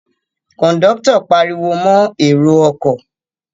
Kòńdọ́tọ̀ pariwo mọ èrò ọkọ̀